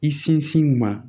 I sinsin u ma